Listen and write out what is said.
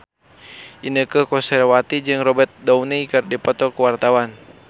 Inneke Koesherawati jeung Robert Downey keur dipoto ku wartawan